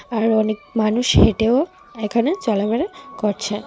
আর অনেক মানুষ হেঁটেও এখানে চলাফেরা করছে।